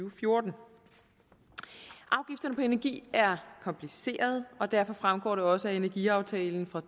og fjorten afgifterne på energi er komplicerede og derfor fremgår det også af energiaftalen fra